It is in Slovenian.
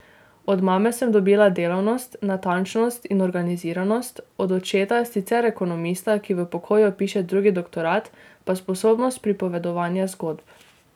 Od mame sem dobila delavnost, natančnost in organiziranost, od očeta, sicer ekonomista, ki v pokoju piše drugi doktorat, pa sposobnost pripovedovanja zgodb.